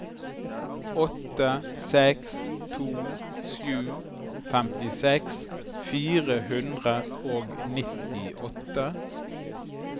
åtte seks to sju femtiseks fire hundre og nittiåtte